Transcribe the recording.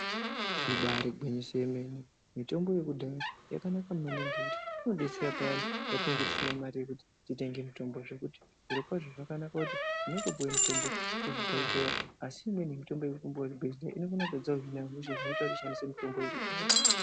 Ibaari gwinyiso remene mitombo yekudhaya yakanaka maningi inodetsera payani patinenge tisina mare yekuti titenge mitombo zvekuti zvirokwazvo zvakanaka kuti tinotoopuwa mitombo kuzvibhedhlera asi imweni mitombo yetinopuwa kuzvibhedhlera inokona kutadza kuhina hosha zvinoita kuti tishandise mitombo yekudhaya.